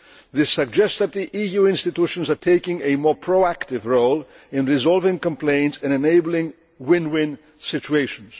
This suggests that the EU institutions are taking a more proactive role in resolving complaints and enabling win win situations.